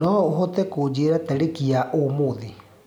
noũhote kunjĩĩra tarĩkĩ yaũmũthĩ